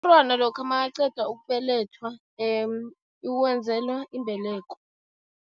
Lokha makaqeda ukubelethwa uwenzelwa imbeleko.